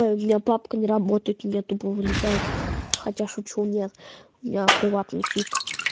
ой бля папка на работает у тебя тупо вылетает хотя шучу нет я приватный чит